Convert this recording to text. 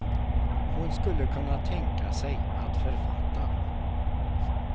Hon skulle kunna tänka sig att författa.